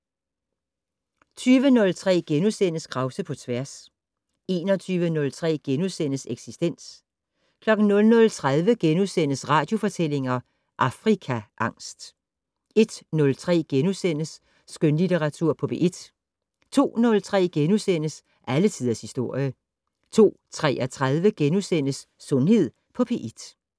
20:03: Krause på tværs * 21:03: Eksistens * 00:30: Radiofortællinger - Afrikaangst * 01:03: Skønlitteratur på P1 * 02:03: Alle tiders historie * 02:33: Sundhed på P1 *